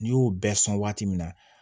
N'i y'o bɛɛ sɔn waati min na